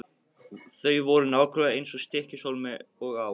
Þau voru nákvæmlega eins í Stykkishólmi og á